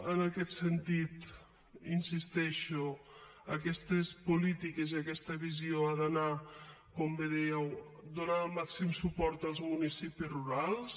en aquest sentit hi insisteixo aquestes polítiques i aquesta visió han d’anar com bé dèieu a donar el màxim suport als municipis rurals